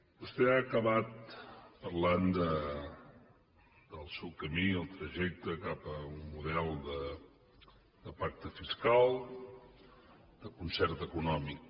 vostè ha acabat parlant del seu camí el trajecte cap a un model de pacte fiscal de concert econòmic